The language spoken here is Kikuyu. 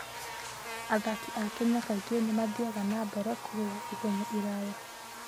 Athaki a Kenya kaingĩ nĩ mathiaga na mbere kũrũa ihenya iraya.